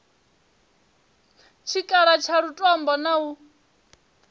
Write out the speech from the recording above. tshikhala tsha lutombo na u